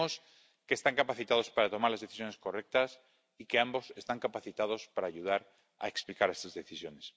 Creemos que están capacitados para tomar las decisiones correctas y que ambos están capacitados para ayudar a explicar estas decisiones.